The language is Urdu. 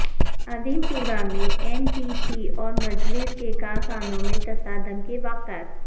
اعظم پورہ میں ایم بی ٹی اور مجلس کے کارکنوں میں تصادم کے واقعات